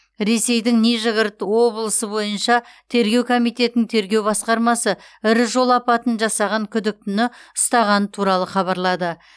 ресейдің нижегород облысы бойынша тергеу комитетінің тергеу басқармасы ірі жол апатын жасаған күдіктіні ұстағаны туралы хабарлады